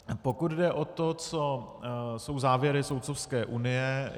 Pokud jde o to, co jsou závěry Soudcovské unie.